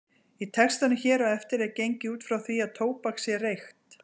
Í textanum hér á eftir er gengið út frá því að tóbak sé reykt.